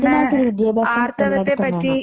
അപ്പോൾ അതിനകത്തൊരു വിദ്യാഭ്യാസം